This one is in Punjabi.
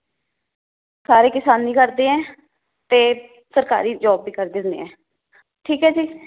ਸਾਰੇ ਕਿਸਾਨੀ ਕਰਦੇ ਏ ਤੇ ਸਰਕਾਰੀ job ਵੀ ਕਰਦੇ ਹੁੰਦੇ ਹੈ, ਠੀਕ ਏ ਜੀ